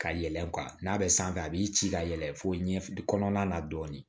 Ka yɛlɛn n'a bɛ sanfɛ a b'i ci ka yɛlɛn fo ɲɛ kɔnɔna na dɔɔnin